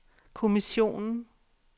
kommissionen